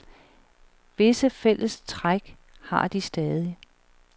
Visse fælles træk har de stadig.